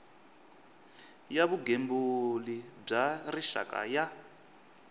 ya vugembuli bya rixaka ya